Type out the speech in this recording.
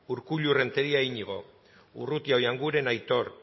urkullu renteria iñigo urrutia oianguren aitor